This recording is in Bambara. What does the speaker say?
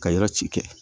Ka yɔrɔ ci kɛ